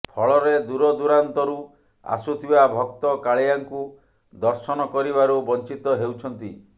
ଫଳରେ ଦୂରଦୁରାନ୍ତରୁ ଆସୁଥିବା ଭକ୍ତ କାଳିଆଙ୍କୁ ଦର୍ଶନ କରିବାରୁ ବଂଚିତ ହେଉଛନ୍ତି